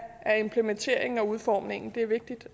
implementeringen og udformningen det er vigtigt